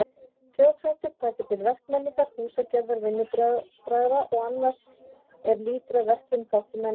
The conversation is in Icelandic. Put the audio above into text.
Þjóðhættir taka til verkmenningar, húsagerðar, vinnubragða og annars er lýtur að verklegum þáttum menningar.